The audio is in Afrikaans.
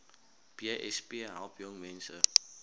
besp help jongmense